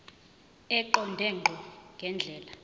eqonde ngqo ngendlela